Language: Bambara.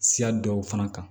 Siya dɔw fana kan